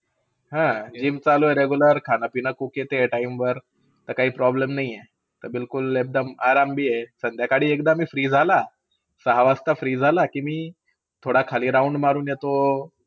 हा, GYM चालू आहे regular. खाणं-पिणं ठीक आहे, cook येते time वर. तसकही problem नाही आहे. एकदम आराम बी आहे. सकाळी एकदा मी free झाला. सहा वाजता झाला मी free झाला की थोडा round मारून येतो